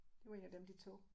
Det var 1 af dem de tog